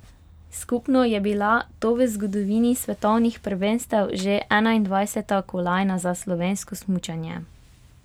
Skupno je bila to v zgodovini svetovnih prvenstev že enaindvajseta kolajna za slovensko smučanje.